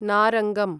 नारङ्गम्